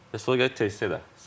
Sonra gəlir Terseyra.